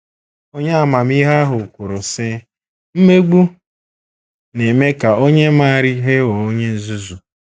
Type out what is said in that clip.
Onye amamihe ahụ kwuru, sị: “ Mmegbu na - eme ka onye maara ihe ghọọ onye nzuzu. ”